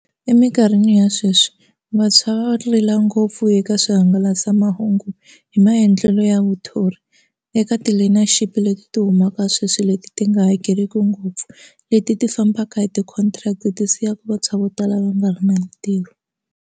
Eminkarhini ya sweswi vantshwa va rila ngopfu eka swihangalasamahungu hi maendlelo ya vathori eka ti leyi na ship leti ti humaka sweswi leti ti nga hakeriki ngopfu leti ti fambaka hi ti-contract ti siyaka vantshwa vo tala va nga ri na mintirho.